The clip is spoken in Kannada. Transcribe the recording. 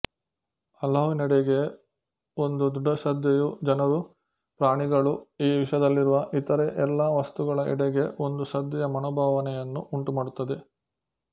ಅಲ್ಲಾಹುವಿನೆಡೆಗೆ ಒಂದು ದೃಢಶ್ರದ್ಧೆಯು ಜನರು ಪ್ರಾಣಿಗಳು ಈ ವಿಶ್ವದಲ್ಲಿರುವ ಇತರೆ ಎಲ್ಲ ವಸ್ತುಗಳ ಎಡೆಗೆ ಒಂದು ಶ್ರದ್ಧೆಯ ಮನೋಭಾವನೆಯನ್ನು ಉಂಟುಮಾಡುತ್ತದೆ